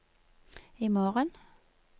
imorgen